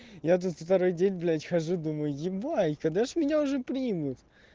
я тут второй день блять хожу думаю ебать когда же меня уже примут